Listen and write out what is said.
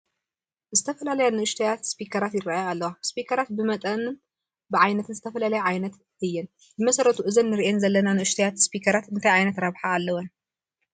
ዝተፈላለያ ንኡሽተያት ስፒከራት ይርአያ ኣለዋ፡፡ ስፒከራት ብመጠንን ብዓይነትን ዝተፈላለያ ዓይነት እየን፡፡ ብመሰረቱ እዘን ንሪአን ዘለና ንኡሽተያት ስፒኪራት እንታይ ዓይነት ረብሓ ኣለዎ?